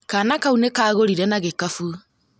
Kana kau nĩ Kagorire na gĩkabũ